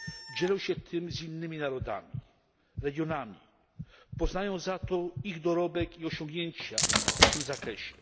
dzielą się tym z innymi regionami, poznając w zamian ich dorobek i osiągnięcia w tym zakresie.